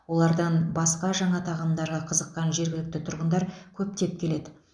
олардан басқа жаңа тағамдарға қызыққан жергілікті тұрғындар көптеп келеді